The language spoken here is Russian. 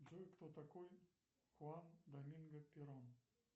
джой кто такой хуан доминго перон